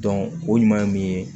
o ɲuman ye mun ye